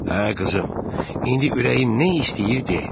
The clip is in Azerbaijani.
Hə, qızım, indi ürəyin nə istəyir de.